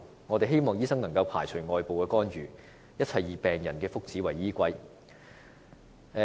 我們希望醫生不會受外部干預，一切以病人福祉為依歸。